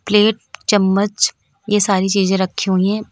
Plate चम्मच ये सारी चीजें रखी हुई हैं।